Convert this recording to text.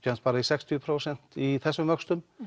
bara í sextíu prósent í þessum vöxtum